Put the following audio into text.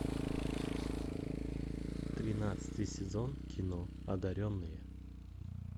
тринадцатый сезон кино одаренные